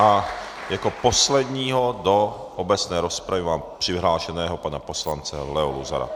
A jako posledního do obecné rozpravy mám přihlášeného pana poslance Leo Luzara.